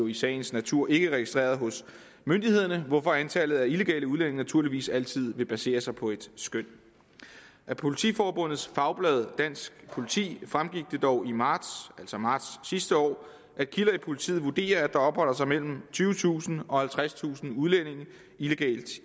i sagens natur ikke registreret hos myndighederne hvorfor antallet af illegale udlændinge naturligvis altid vil basere sig på et skøn at politiforbundets fagblad dansk politi fremgik det dog i marts altså marts sidste år at kilder i politiet vurderer at der opholder sig mellem tyvetusind og halvtredstusind udlændinge illegalt